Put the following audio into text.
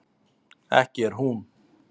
ekki er hún